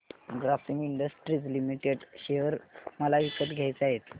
Grasim industries limited share मला विकत घ्यायचे आहेत